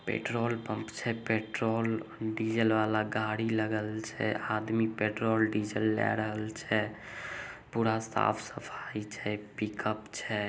Petrol pump छे petrol diesel वाला गाड़ी लगल छे आदमी पेट्रोल डीजल लै रहल छे। पुरा साफ सफाई छे पिकप छे।